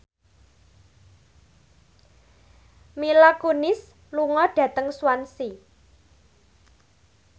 Mila Kunis lunga dhateng Swansea